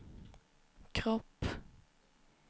kropp